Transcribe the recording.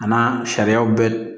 A n'a sariyaw bɛ